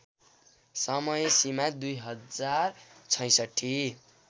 समय सीमा २०६६